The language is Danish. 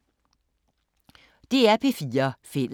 DR P4 Fælles